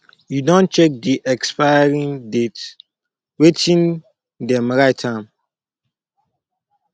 you don check de expiry date wetin them write am